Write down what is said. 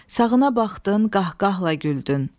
Sağına baxdın, qaqqahla güldün.